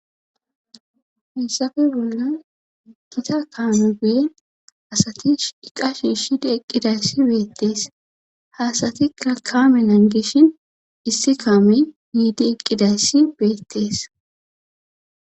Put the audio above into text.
Hessafe bolla gita kaame bee asati iqa shi shidi eqqidayssi beettees haasati kakamelan gishin issi kaame yiidi eqqidayssi beettees.